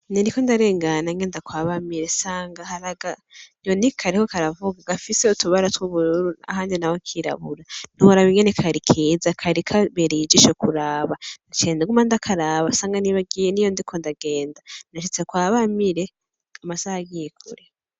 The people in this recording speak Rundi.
Nariko ndarengana ngenda kwa Bamire nsanga hari akanyoni kariko karavuga gafise utubara tw' ubururu ahandi naho kirabura ntiworaba ukuntu kari keza kari kabereye ijisho kuraba, ciye nguma ndakaraba nsanga nibagiye niyo ndiko ndagenda nashitse kwa Bamire amasaha agiye kure.